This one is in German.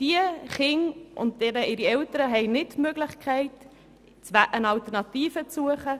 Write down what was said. Diese Kinder und eben auch ihre Eltern haben nicht die Möglichkeit, nach einer Alternative zu suchen.